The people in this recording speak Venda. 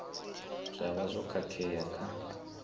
zwa vha zwo khakhea kha